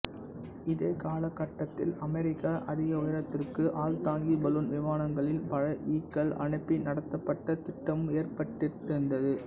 இதே காலகட்டத்தில் அமெரிக்கா அதிக உயரத்திற்கு ஆள்தாங்கி பலூன் விமானங்களில் பழ ஈக்கள் அனுப்பி நடத்தப்பட்ட திட்டமும் ஏற்பட்டிருந்தது